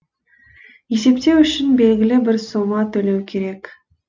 есептеу үшін белгілі бір сома төлеу керек